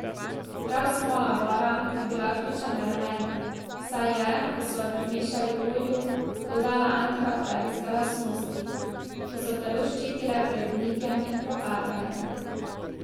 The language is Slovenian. Prav smola bora je bila ključen element, saj je, ko so jo primešali olju, dodala antibakterijske lastnosti, ki so telo ščitile pred gnitjem in propadanjem.